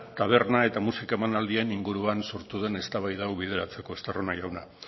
taberna eta musika emanaldien inguruan sortu den eztabaida hau bideratzeko estarrona jauna